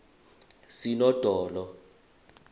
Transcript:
sinodolo